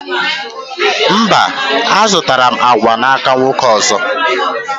Mba, a zụtara m agwa n'aka nwoke ọzọ